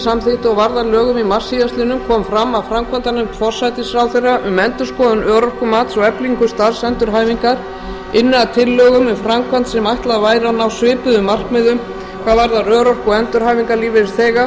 og varð að lögum í mars síðastliðnum kom fram að framkvæmdanefnd forsætisráðherra um endurskoðun örorkumats og eflingu starfsendurhæfingar ynni að tillögum um framkvæmd sem ætlað væri að ná svipuðum markmiðum hvað varðar örorku og endurhæfingarlífeyrisþega